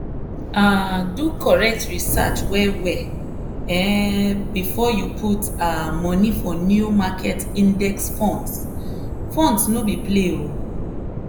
um do correct research well well um before you put um money for new market index funds funds no be play oh!